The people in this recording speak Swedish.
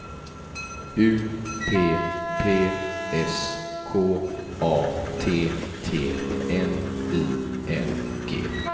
U P P S K A T T N I N G